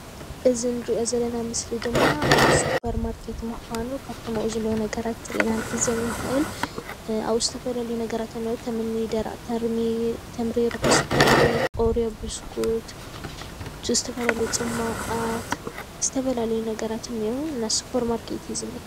እዚ ንሪኦ ዘለና ምስሊ ድማ ኣብ ሱፐርማርኬት ምዃኑ ካብቶም ኣብኣ ዘለዉ ነገራት ኢና ክንዕዘብ እንክእል፤ ኣብ ዝተፈላለዩ ነገራት ከምኒ ደረቕ ተምሪ ፣ሩሑስ ተምሪ፣ ብስኩት፣ ዝተፈላለዩ ፅሟቛት ዝተፈላለዩ ነገራት እንኤዉ እና ስፖርማርኬት እዩ ዝኒኤ፡፡